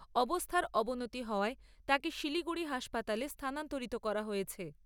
অবস্থার অবনতি হওয়ায় তাঁকে শিলিগুড়ি হাসপাতালে স্থানান্তরিত করা হয়েছে।